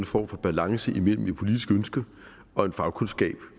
form for balance imellem et politisk ønske og en fagkundskab